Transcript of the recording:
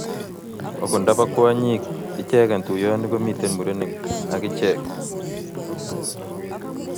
ogot nda po kwanyiik ichegen tuiyoni komiten mureniig agicheeg